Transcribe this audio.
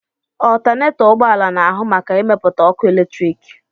Ọltanetọ ụgbọala na-ahụ maka ịmepụta ọkụ eletriki.